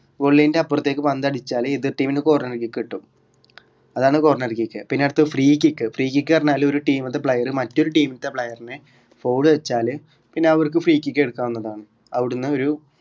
goal line ന്റെ അപ്പറത്തേക്ക് പന്ത് അടിച്ചാൽ എതിർ team ന് corner kick കിട്ടും അതാണ് corner kick പിന്നെ അടുത്തത് free kickfree kick പറഞ്ഞാൽ ഒരു team ത്തെ player മറ്റൊരു team ത്തെ player നെ foul വെച്ചാല് പിന്നെ അവർക്ക് free kick എടുക്കാവുന്നതാണ്. അവിടുന്ന് ഒരു